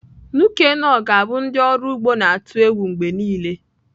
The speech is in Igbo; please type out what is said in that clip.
Nuke noh ga-abụ ndị ọrụ ugbo na-atụ egwu mgbe niile.